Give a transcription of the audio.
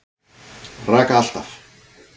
Raka allt af.